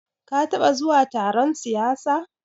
Ka taɓa zuwa taron siyasa?